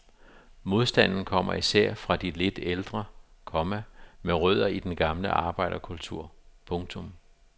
Modstanden kommer især fra de lidt ældre, komma med rødder i den gamle arbejderkultur. punktum